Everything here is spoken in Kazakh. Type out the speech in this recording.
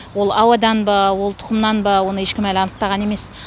ол ауадан ба ол тұқымнан ба оны ешкім әлі анықтаған емес